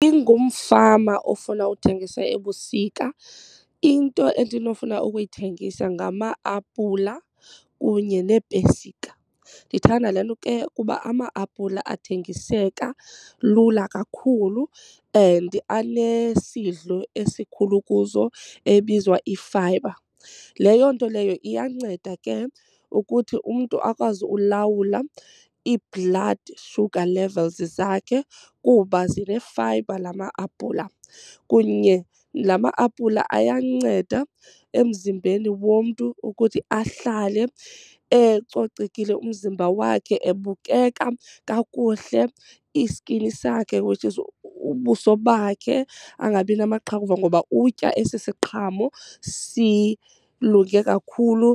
Ingumfama ofuna uthengisa ebusika into endinofuna ukuyithengisa ngama-apula kunye neepesika. Ndithanda le nto ke ukuba ama-apula athengiseka lula kakhulu and anesidlo esikhulu kuzo ebizwa ifayibha. Leyo nto leyo iyanceda ke ukuthi umntu akwazi ulawula ii-blood sugar levels zakhe kuba zinefayibha la ma-apula. Kunye la ma-apula ayanceda emzimbeni womntu ukuthi ahlale ecocekile umzimba wakhe ebukeka kakuhle, iskini sakhe which is ubuso bakhe angabi namaqhakuva ngoba utya esi siqhamo silunge kakhulu